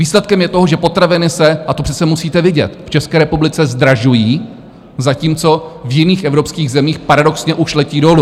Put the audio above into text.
Výsledkem je to, že potraviny se - a to přece musíte vidět - v České republice zdražují, zatímco v jiných evropských zemích paradoxně už letí dolů.